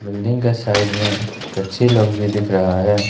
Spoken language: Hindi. बिल्डिंग का साइड में गच्छी लोग भी दिख रहा है।